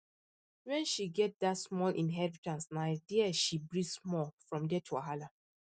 when she get that small inheritance na there she breathe small from debt wahala